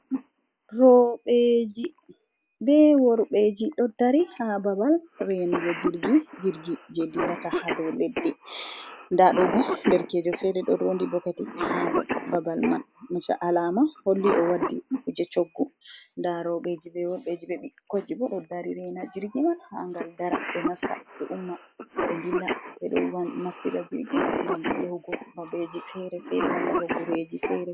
Rowɓeji be worɓeji ɗo dari haa babal renugo jirgi .Jirgi jey dillata haa dow leddi, ndaa ɗo bo derekejo feere ɗo roondi bokoti haa babal man maca alaama holli o waddi kuje coggu. Ndaa rowɓeji be worɓeji ,be ɓukkoyi bo ɗo dari reena jirgi man haa ngal dara, ɓe nasta ɓe umma ɓe dilla. Ɓe ɗon naftira jirgi ngam yahugo babbeji fere-fere malla bo gureji fere-fere.